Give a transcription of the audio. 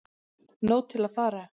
Nóg til að fara